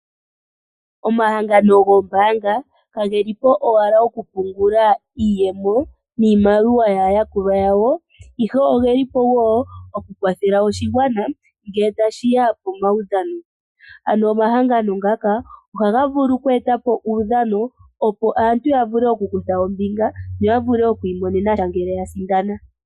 Omahangano gombaanga kagelipo owala okupungula iimaliwa yaayakulwa yawo, ihe oge lipo woo Okukwathela oshigwana ngele yashiya pamaudhano. Aantu ohaya kutha ombinga muudhano mbuka, ngele yasindana ohaya pewa iimaliwa.